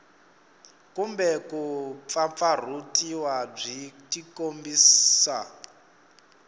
kumbe ku pfapfarhutiwa byi tikombisa